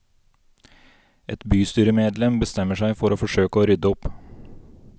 Et bystyremedlem bestemmer seg for å forsøke å rydde opp.